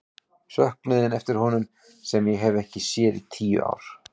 Söknuðinn eftir honum sem ég hef ekki séð í tíu ár.